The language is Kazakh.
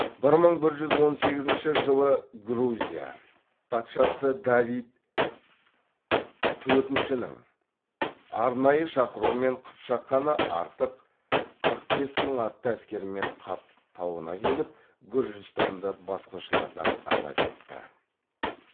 бір мың бір жүз он сегізінші жылы грузия патшасы давид төртіншінің арнайы шақыруымен қыпшақ ханы артық қырық бес мың атты әскерімен қап тауына келіп гүржістанды басқыншылардан азат етті